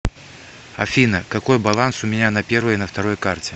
афина какой баланс у меня на первой и на второй карте